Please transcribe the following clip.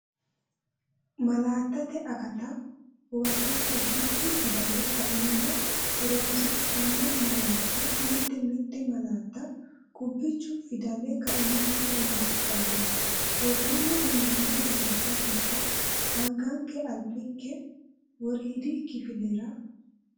Malaattate akatta huwata Qubbichu fidale kaimaho horoonsidhanno malaatta Mite mite malaatta qubbichu fidale kaimaho horoonsidhanno, Woroonni uyinoonni malaatta giddo anganke albinke woriidi kifilera?